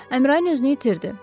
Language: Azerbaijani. Əmrain özünü itirdi.